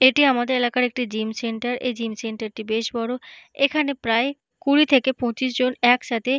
এটি আমাদের এলাকার একটি জিম সেন্টার । এই জিম সেন্টার -টি বেশ বড় এখানে প্রায় কুড়ি থেকে পঁচিশ জন একসাথে--